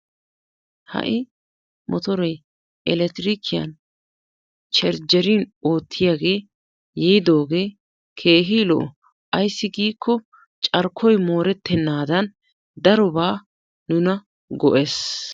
Ha'i mottoree elekktirikkiyan chrajjerin ootiyage yiiddogee keehi lo''o. Ayssi giikko carkkoy moorettenaadan darobaa nuna go'ees.